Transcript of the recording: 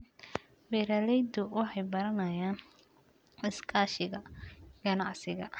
Beeraleydu waxay baranayaan iskaashiga ganacsiga.